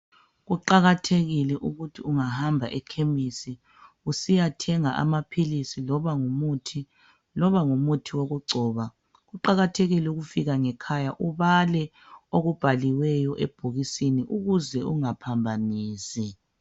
Kuqakathekile ukuthi ungahamba ekhemisi usiyathenga amaphilisi loba ngumuthi loba ngumuthi wokugcoba kuqakathekile ukufika ngekhaya ubale okubhaliweyo ebhokisini ukuze ungaphambanisi.